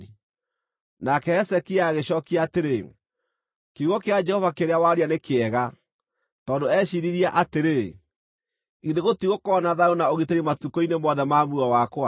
Nake Hezekia agĩcookia atĩrĩ, “Kiugo kĩa Jehova kĩrĩa waria nĩ kĩega,” Tondũ eeciiririe atĩrĩ, “Githĩ gũtigũkorwo na thayũ na ũgitĩri matukũ-inĩ mothe ma muoyo wakwa?”